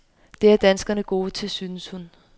Det er danskerne gode til, synes hun.